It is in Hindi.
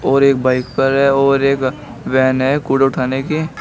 और एक बाइक पर है और एक वैन है कूड़ा उठाने की।